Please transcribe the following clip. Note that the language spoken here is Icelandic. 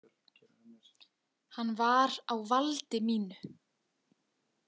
Hann var á valdi mínu.